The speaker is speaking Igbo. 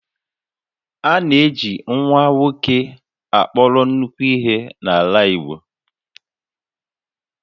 A na-eji nwa nwoke akpọrọ nnukwu ihe n'ala Igbo